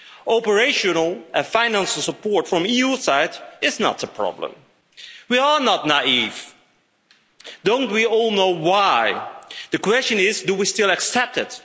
Operational and financial support from the EU side is not a problem. We are not naive. Don't we all know why? The question is, do we still accept it?